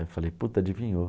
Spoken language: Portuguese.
Aí eu falei, puta, adivinhou.